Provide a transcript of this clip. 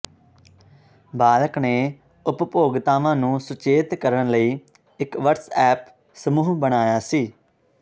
ਬਾਲਿਕ ਨੇ ਉਪਭੋਗਤਾਵਾਂ ਨੂੰ ਸੁਚੇਤ ਕਰਨ ਲਈ ਇਕ ਵਟਸਐਪ ਸਮੂਹ ਬਣਾਇਆ ਸੀ